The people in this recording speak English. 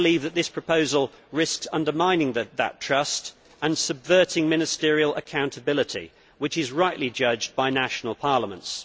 This proposal risks undermining that trust and subverting ministerial accountability, which is rightly judged by national parliaments.